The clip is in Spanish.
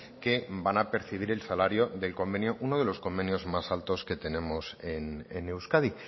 que van a percibir el salario del convenio uno de los convenios más altos que tenemos en euskadi